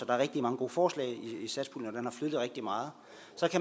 er rigtig mange gode forslag i satspuljen og den har flyttet rigtig meget